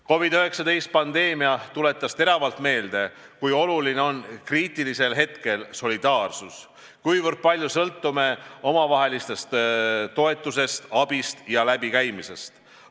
COVID-19 pandeemia tuletas teravalt meelde, kui oluline on kriitilisel hetkel solidaarsus, kui palju me sõltume omavahelisest toetusest, abist ja läbikäimisest.